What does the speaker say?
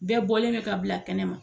Bɛɛ bɔlen no ka bila kɛnɛ ma.